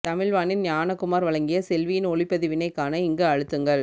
தமிழ் வாணி ஞானகுமார் வழங்கிய செவ்வியின் ஒளிப்பதிவினைக் காண இங்கு அழுத்துங்கள்